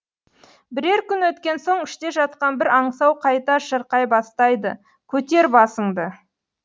бірер күн өткен соң іште жатқан бір аңсау қайта шырқай бастайды көтер басыңды